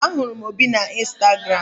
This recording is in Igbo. Ahụrụ m Obi na Instagram.